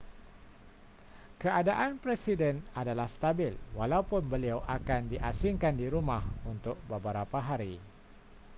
keadaan presiden adalah stabil walaupun beliau akan di asingkan di rumah untuk beberapa hari